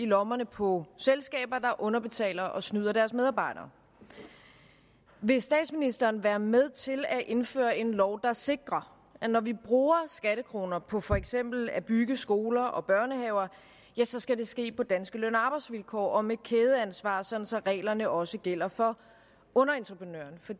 lommerne på selskaber der underbetaler og snyder deres medarbejdere vil statsministeren være med til at indføre en lov der sikrer at når vi bruger skattekroner på for eksempel at bygge skoler og børnehaver så skal det ske på danske løn og arbejdsvilkår og med kædeansvar så så reglerne også gælder for underentreprenørerne for